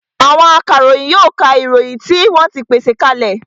Àwọn akaròyìn yóò ka ìròyìn tí wọ́n ti pèsè ka lẹ̀